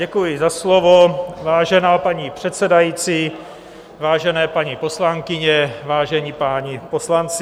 Děkuji za slovo, vážená paní předsedající, vážené paní poslankyně, vážení páni poslanci.